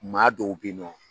Maa dɔw bɛ nɔ.